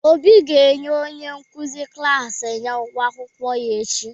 Obi ga-enye onye nkuzi klaasị ya ụgwọ akwụkwọ ya echi.